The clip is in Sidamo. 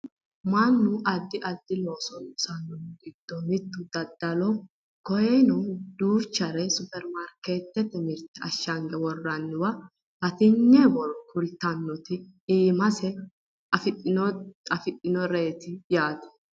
Mannu addi addi looso loosannohu giddo mittu daddaloho koyeeno duuchare Supperimarkeettete mirte ashshange worroonnire batinye borro kultannota iimasi afirinoreeti yaate